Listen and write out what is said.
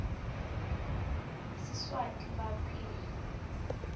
siswati fal p